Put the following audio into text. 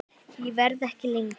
Ég verð ekki lengi